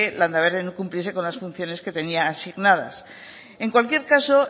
landaberri no cumpliese con las funciones que tenía asignadas en cualquier caso